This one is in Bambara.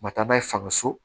U ma taa n'a ye fanga so